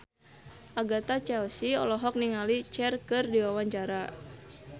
Agatha Chelsea olohok ningali Cher keur diwawancara